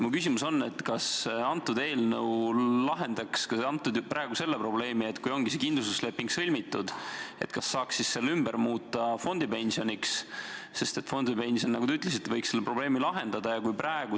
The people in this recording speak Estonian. Mu küsimus on järgmine: kas see eelnõu lahendaks praegu ka selle probleemi, et kui ongi see kindlustusleping sõlmitud, siis kas selle saaks ümber muuta fondipensioni lepinguks, sest fondipension, nagu te ütlesite, võiks selle probleemi lahendada?